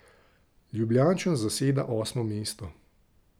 Ljubljančan zaseda osmo mesto.